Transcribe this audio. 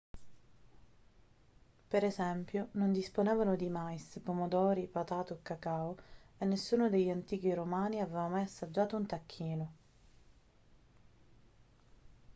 per esempio non disponevano di mais pomodori patate o cacao e nessuno degli antichi romani aveva mai assaggiato un tacchino